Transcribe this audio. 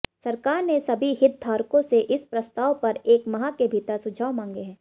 सरकार ने सभी हितधारकों से इस प्रस्ताव पर एक माह के भीतर सुझाव मांगे हैं